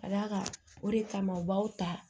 Ka d'a kan o de kama u b'aw ta